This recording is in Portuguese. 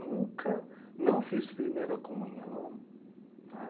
Nunca, não fiz primeira comunhão. Tá